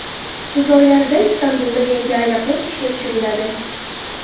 Kuz oylarida Istanbulda yangi aeroport ishga tushiriladi.